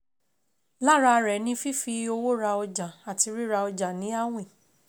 Lára rẹ̀ ni fífi owó ra ọjà àti ríra ọjà ní àwìn.